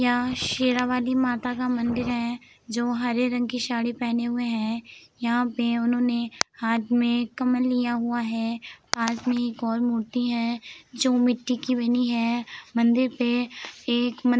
यहां शेरावाली माता का मंदिर है जो हरे रंग की साड़ी पहने हुए हैं यहां पे उन्होंने हाथ में कमल लिया हुआ है पास में एक और मूर्ति है जो मिट्टी की बनी है मंदिर पे एक --